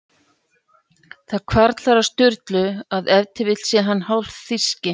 Það hvarflar að Sturlu að ef til vill sé hinn hálfþýski